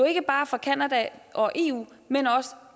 ikke bare for canada og eu men også